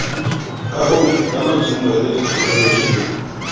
kahong ya maitemohelo thekenoloje le